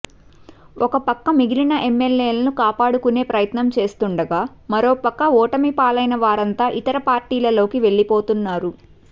ఒక పక్క మిగిలిన ఎమ్మెల్యేలను కాపాడుకునే ప్రయత్నం చేస్తుండగా మరో పక్క ఓటమి పాలైన వారంతా ఇతర పార్టీలలోకి వెళ్లిపోతున్నారు